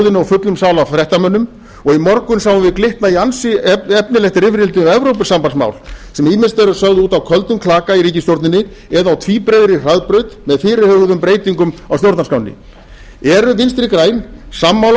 fullum sal af fréttamönnum og í morgun sáum við glytta í ansi efnilegt rifrildi um evrópusambandsmál sem ýmist eru sögð úti á köldum klaka í ríkisstjórninni eða á tvíbreiðri hraðbraut með fyrirhuguðum breytingum á stjórnarskránni eru vinstri græn sammála